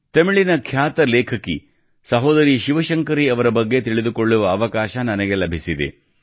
ತಮಿಳಿನ ಖ್ಯಾತ ಲೇಖಕಿ ಸಹೋದರಿ ಶಿವಶಂಕರಿ ಅವರ ಬಗ್ಗೆ ತಿಳಿದುಕೊಳ್ಳುವ ಅವಕಾಶ ನನಗೆ ಲಭಿಸಿದೆ